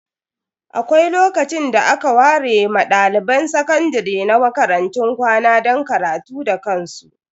Akwai lokacin da aka ware ma dalibai sakandare na makarantun kwana don karatu da kansu.